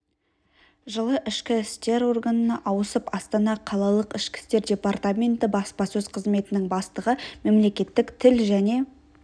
жылы ішкі істер органына ауысып астана қалалық ішкі істер департаменті баспасөз қызметінің бастығы мемлекеттік тіл және